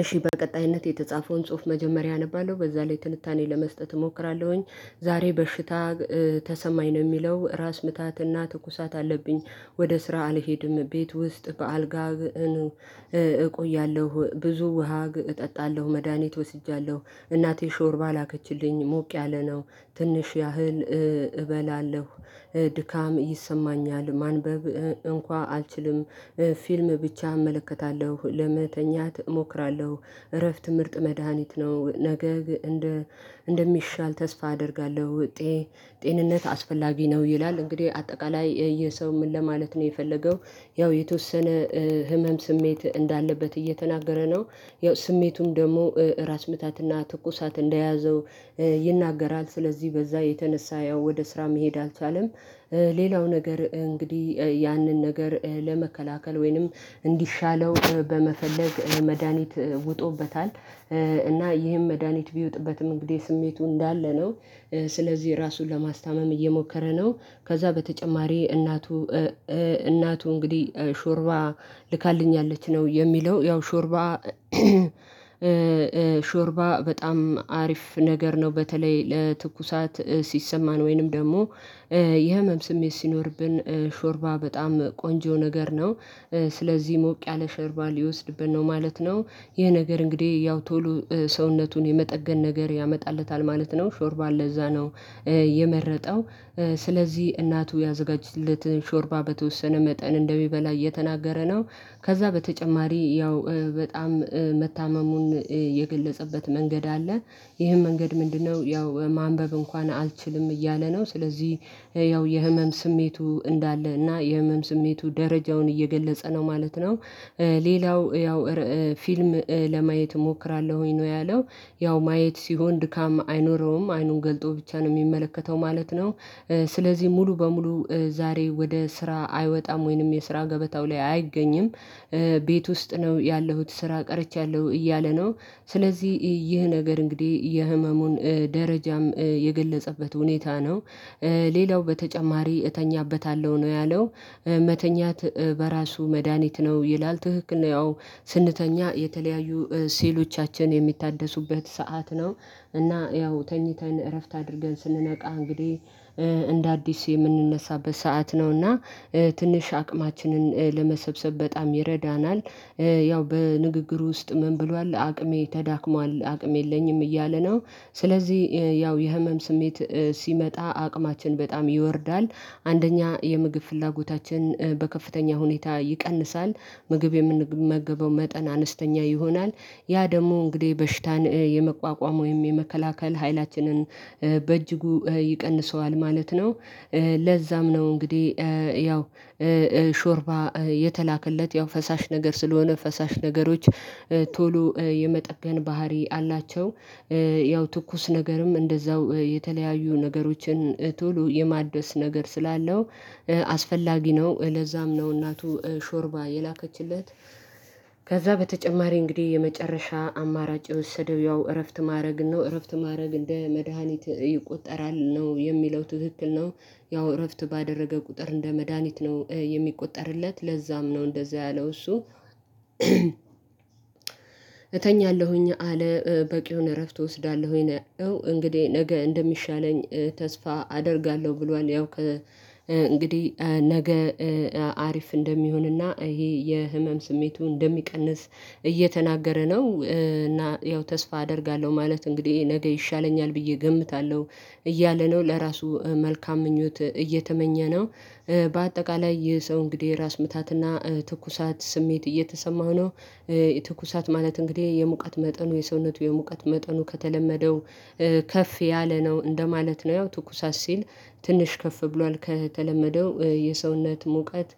እሺ በቀጣይነት የተጻፈውን ጽሁፍ መጀመሪያ አነባለሁ በዛ ላይ ትንታኔ ለመስጠት እሞክራለሁኝ። ዛሬ በሽታ ተሰማኝ ነው የሚለው ራስ ምታትና ትኩሳት አለብኝ ወደ ስራ አልሄድም ቤት ውስጥ በአልጋ ነው እቆያለው ብዙ ውሃ እጠጣለው መድሃኒት ወስጄያለው እናቴ ሾርባ ላከችልኝ ሞቅ ያለ ነው። ትንሽ ያህል እበላለው። ድካም ይሰማኛል ማንበብ እንኳን አልችልም ፊልም ብቻ እመለከታለሁ ለመተኛት እሞክራለሁ እረፍት ምርጥ መድሃኒት ነው ነገ እንደ እንደሚሻል ተስፋ አደርጋለዉ። ጤ ጤንነት አስፈላጊ ነው ይላል። እንግዲህ አጠቃላይ ይሄ ሰው ምን ለማለት ነው የፈለገው? ያው የተወሰነ ህመም ስሜት እንዳለበት እየተናገረ ነው ያው ስሜቱም ደግሞ አራስ ምታትና ትኩሳት እንደያዘው ይናገራል ስለዚህ በዛ የተነሳ ያው ወደ ስራ መሄድ አልቻለም። ሌላው ነገር እንግዲህ ያንን ነገር ለመከላከል ወይንም እንዲሻለው በመፈለግ መድሃኒት ውጦበታል። እና ይህም መድሃኒት ቢውጥበትም እንግዲህ ስሜቱ እንዳለ ነው። ስለዚህ ራሱን ለማስታመም እየሞከረ ነው ከዛ በተጨማሪ እናቱ እናቱ እንግዲህ ሾርባ ልካልኛለች ነው የሚለው ያው ሾርባ ሾርባ በጣም አሪፍ ነገር ነው። በተለይ ለትኩሳት ሲሰማን ወይንም ደግሞ ይህ ህመም ስሜት ሲኖርብን ሾርባ በጣም ቆንጆ ነገር ነው። ስለዚህ ሞቅ ያለ ሾርባ ሊወስድብን ነው ማለት ነው። ይሄ ነገር እንግዲህ ያው ቶሎ ሰውነቱን የመጠገን ነገር ያመጣለታል ማለት ነው። ሾርባ ለዛ ነው የመረጠው። ስለዚህ እናቱ ያዘጋጅለትን ሾርባ በተወሰነ መጠን እንደሚበላ እየተናገረ ነው። ከዛ በተጨማሪ ያው በጣም መታመሙን የገለጸበት መንገድ አለ። ይሄን መንገድ ምንድነው ያው ማንበብ እንኳን አልችልም እያለ ነው ስለዚህ ያው የህመም ስሜቱ እንዳለ እና የህመም ስሜቱ ደረጃውን እየገለጸ ነው ማለት ነው። ሌላው ያው ፊልም ለማየት እሞክራለሁኝ ነው ያለው። ያው ማየት ሲሆን ድካም አይኖረውም አይኑን ገልጦ ብቻ ነው የሚመለከተው ማለት ነው። ስለዚህ ሙሉ በሙሉ ዛሬ ወደ ስራ አይወጣም ወይንም የስራ ገበታው ላይ አይገኝም። ቤት ውስጥ ነው ያለሁት ስራ ቀርቼያለሁ እያለ ነው። ስለዚህ ይህ ነገር እንግዲህ የህመሙን ደረጃም የገለጸበት ሁኔታ ነው። ሌላው በተጨማሪ እተኛበታለሁ ነው ያለው። መተኛት በራሱ መድሃኒት ነው ይላል። ትክክል ነው ያው ስንተኛ የተለያዩ ሴሎቻችን የሚታደሱበት ሰዓት ነው እና ያው ተኝተን እረፍት አድርገን ስንነቃ እንግዲህ እንደ አዲስ የምንነሳበት ሰዓት ነውና ትንሽ አቅማችንን ለመሰብሰብ በጣም ይረዳናል። ያው በንግግሩ ውስጥ ምን ብሏል አቅሜ ተዳክሟል አቅሜ የለኝም እያለ ነው ስለዚህ ያው የህመም ስሜት ሲመጣ አቅማችን በጣም ይወርዳል አንደኛ የምግብ ፍላጎታችን በከፍተኛ ሁኔታ ይቀንሳል። ምግብ የምንመገበው መጠን አነስተኛ ይሆናል። ያ ደግሞ እንግዲህ በሽታን የመቋቋም ወይም የመከላከል ኃይላችንን በእጅጉ ይቀንሰዋል ማለት ነው። ለዛም ነው እንግዲህ ያው ሾርባ የተላከለት ያው ፈሳሽ ነገር ስለሆነ ፈሳሽ ነገሮች ቶሎ የመጠገን ባህሪ አላቸው። ያው ትኩስ ነገርም እንደዛው የተለያዩ ነገሮችን ቶሎ የማደስ ነገር ስላለው አስፈላጊ ነው ለዛም ነው እናቱ ሾርባ የላከችለት። ከዛ በተጨማሪ እንግዲህ የመጨረሻ አማራጭ የወሰደው ያው እረፍት ማድረግ ነው። እረፍት ማድረግ እንደ መድሃኒት ይቆጠራል ነው የሚለው ትክክል ነው። ያው እረፍት ባደረገ ቁጥር እንደ መድሃኒት ነው የሚቆጠርለት ለዛም ነው እንደዛ ያለው እሱ። እተኛለሁኝ አለ በቂ የሆነ እረፍት እወስዳለሁኝ እንግዲህ ነገ እንደሚሻለኝ ተስፋ አደርጋለሁ ብሏል ያው ከ እንግዲህ ነገ አሪፍ እንደሚሆንና ይሄ የህመም ስሜቱ እንደሚቀንስ እየተናገረ ነው እና ያው ተስፋ አደርጋለሁ ማለቱ እንግዲህ ነገ ይሻለኛል ብዬ እገምታለሁ እያለ ነው ለራሱ መልካም ምኞት እየተመኘ ነው። በአጠቃላይ ይህ ሰው እንግዲህ ራስ ምታትና ትኩሳት ስሜት እየተሰማሁ ነው የትኩሳት ማለት እንግዲህ የሙቀት መጠኑ የሰውነቱ የሙቀት መጠኑ ከተለመደው ከፍ ያለ ነው እንደማለት ነው። ያው ትኩሳት ሲል ትንሽ ከፍ ብሏል ከተለመደው የሰውነት ሙቀት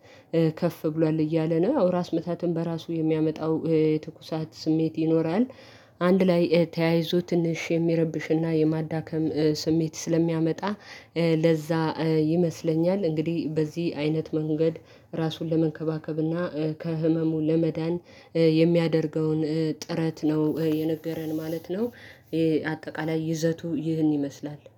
ከፍ ብሏል እያለ ነው አዎ ራስ ምታትን በራሱ የሚያመጣው ትኩሳት ስሜት ይኖራል። አንድ ላይ ተያይዞ ትንሽ የሚረብሽና የማዳከም ስሜት ስለሚያመጣ ለዛ ይመስለኛል እንግዲህ በዚህ አይነት መንገድ ራሱን ለመንከባከብና ከህመሙ ለመዳን የሚያደርገውን ጥረት ነው የነገረን ማለት ነው። አጠቃላይ ይዘቱ ይህን ይመስላል።